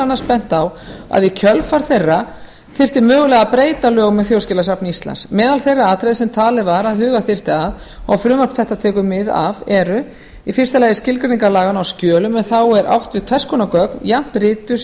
annars bent á að í kjölfar þeirra þyrfti mögulega að breyta lögum um þjóðskjalasafn íslands meðal þeirra atriða sem talið var að huga þyrfti að og frumvarp þetta tekur mið af eru fyrstu skilgreiningar laganna á skjölum en þá er átt við hvers konar gögn jafnt rituð sem